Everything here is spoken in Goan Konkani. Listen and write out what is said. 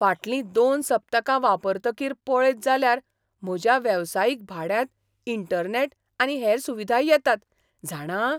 फाटलीं दोन सप्तकां वापरतकीर पळयत जाल्यार म्हज्या वेवसायीक भाड्यांत इंटरनॅट आनी हेर सुविधाय येतात, जाणा?